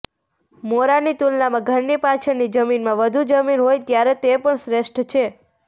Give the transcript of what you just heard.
મોરાની તુલનામાં ઘરની પાછળની જમીનમાં વધુ જમીન હોય ત્યારે તે પણ શ્રેષ્ઠ છે